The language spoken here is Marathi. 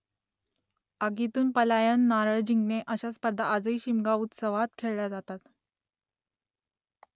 आगीतून पलायन , नारळ जिंकणे अशा स्पर्धा आजही शिमगा उत्सवात खेळल्या जातात